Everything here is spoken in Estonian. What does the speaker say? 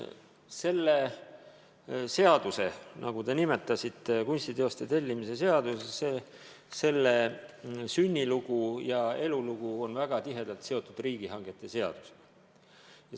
Selle seaduse, nagu te nimetasite, kunstiteoste tellimise seaduse sünnilugu ja elulugu on väga tihedalt seotud riigihangete seadusega.